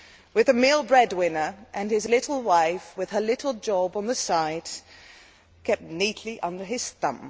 with a male breadwinner and his little wife, with her little job on the side, kept neatly under his thumb.